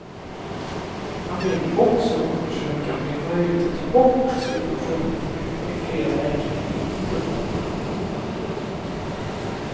Han vill också undersöka om det är möjligt att ta bort subventionen från ett eller flera läkemedel inom en grupp.